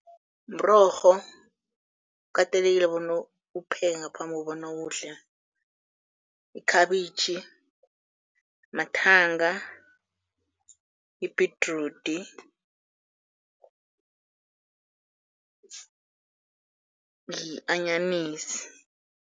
Mrorho kukatelelekile bona uwupheke ngaphambi kobana uwudle, ikhabitjhi, mathanga, ibhedrudi yi-anyanisi.